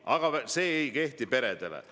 Aga see ei kehti peredele.